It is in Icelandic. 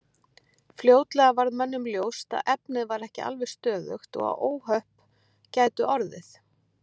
Fljótlega varð mönnum ljóst að efnið var ekki alveg stöðugt og að óhöpp gætu orðið.